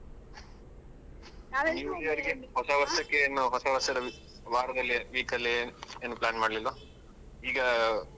ಹೊಸ ಏನು ಹೊಸ ವರ್ಷದ ವಾರದಲ್ಲಿ week ಅಲ್ಲಿ ಏನು plan ಮಾಡ್ಲಿಲ್ವಾ ಈಗ?